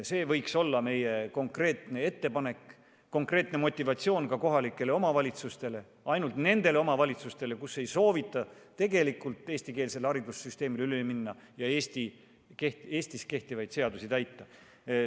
See oleks meie konkreetne ettepanek, konkreetne motivatsioon ka nendele kohalikele omavalitsustele, kus ei soovita tegelikult eestikeelsele haridussüsteemile üle minna ja Eestis kehtivaid seadusi täita.